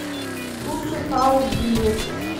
суши хаус билет